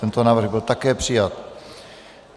Tento návrh byl také přijat.